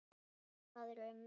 Það er um